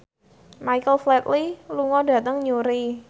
Michael Flatley lunga dhateng Newry